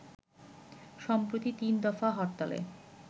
সম্প্রতি ৩ দফা হরতালে